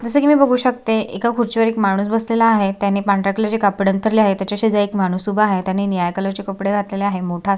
जस की मी बघू शकते एका खुर्ची वर एक माणूस बसलेला आहे त्याने पांढऱ्या कलर चे कापड अंतरलेले आहे तेच्या शेजारी एक माणूस उभा आहे त्यानी निळ्या कलर चे कपडे घातलेले आहे मोठा आ--